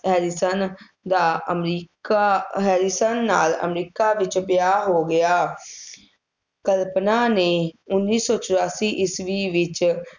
Harrison ਦਾ America, Harrison ਨਾਲ America ਵਿੱਚ ਵਿਆਹ ਹੋ ਗਿਆ। ਕਲਪਨਾ ਨੇ ਉੱਨੀ ਸੌ ਚੁਰਾਸੀ ਈਸਵੀ ਵਿੱਚ